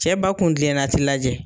Cɛ ba kun kilenna ti lajɛ